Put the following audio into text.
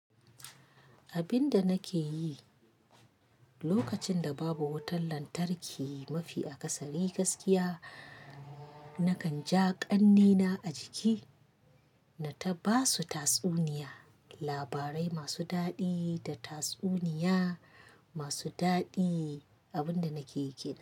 Abin da nake yi lokacin da babu wutar lantarki mafi akasari Ni gaskiya, nakan ja ƙannena a jiki na ta basu tatsuniya, labarai masu daɗi da tatsuniya masu daɗi. Abin da nakeyi kenan.